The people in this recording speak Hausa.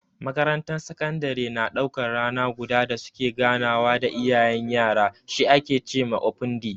Makarantar sakandare na daukan rana guda da su ke ganawa da iyayen yara, shi ake ce ma "open day".